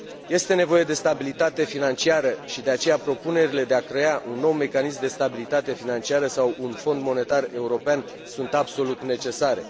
Este nevoie de stabilitate financiară și, de aceea, propunerile de a crea un nou mecanism de stabilitate financiară sau un fond monetar european sunt absolut necesare.